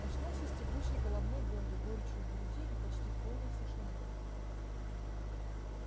очнулся с тягучей головной болью горечью в груди и почти в полной тишине